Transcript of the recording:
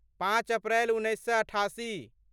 पाँच अप्रैल उन्नैस सए अठासी